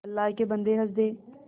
अल्लाह के बन्दे हंस दे